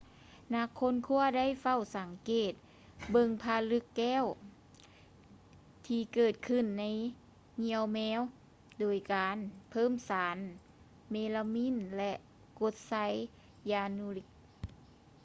ນັກຄົ້ນຄວ້າໄດ້ເຝົ້າສັງເກດເບິ່ງຜະລຶກແກ້ວທີ່ເກີດຂຶ້ນໃນຢ່ຽວແມວໂດຍການເພີ່ມສານເມລາມີນ ແລະ ກົດໄຊຢານູລິກ